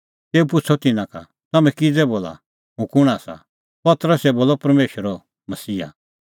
तेऊ पुछ़अ तिन्नां का तम्हैं किज़ै बोला हुंह कुंण आसा पतरसै बोलअ परमेशरो मसीहा